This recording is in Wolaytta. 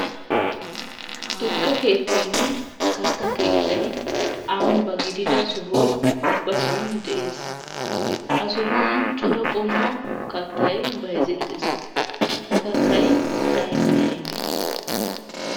Tukke keettaynne kattaa keettay ambba gidida soho ubbasan de'ees. Ha sohuwan cora qommo kattay bayzettes. Ha kattay aybee aybee?